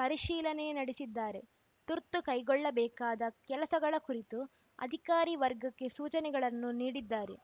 ಪರಿಶೀಲನೆ ನಡೆಸಿದ್ದಾರೆ ತುರ್ತು ಕೈಗೊಳ್ಳಬೇಕಾದ ಕೆಲಸಗಳ ಕುರಿತು ಅಧಿಕಾರಿ ವರ್ಗಕ್ಕೆ ಸೂಚನೆಗಳನ್ನು ನೀಡಿದ್ದಾರೆ